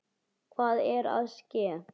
Hvað er að ske?